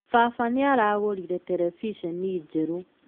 Baba nĩaragũrire terebiceni njerũ